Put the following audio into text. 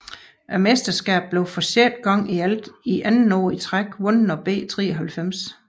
Mesterskabet blev for sjette gang i alt og andet år i træk vundet af B 93